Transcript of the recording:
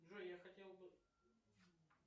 джой я хотел бы